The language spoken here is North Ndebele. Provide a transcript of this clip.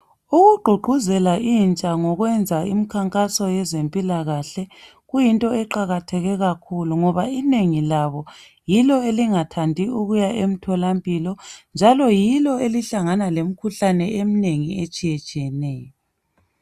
Ukugqugquzela intsha ngkwenza imkhankaso ngezempilakahle kuyinto eqakatheke kakhulu ngoba inengi labo yilo elingathandi ukuya emtholampilo njalo yilo elihlangana lemikhuhlane emnengi etshiye tshiyeneyo